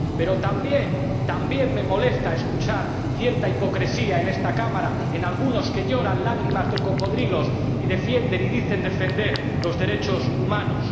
Pero también me molesta escuchar cierta hipocresía en esta Cámara en algunos que lloran lágrimas de cocodrilo y defienden —dicen defender— los derechos humanos.